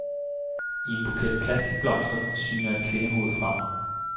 I en buket plastikblomster syner et kvindehoved frem.